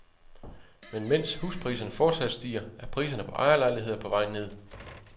Men mens huspriserne fortsat stiger, er priserne på ejerlejligheder på vej ned.